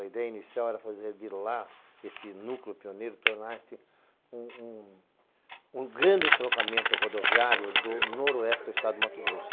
A ideia inicial era fazer de lá esse núcleo pioneiro, tornar-se um grande entroncamento rodoviário do noroeste do estado de Mato Grosso.